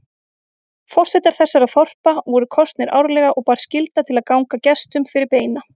Forsetar þessara þorpa voru kosnir árlega og bar skylda til að ganga gestum fyrir beina.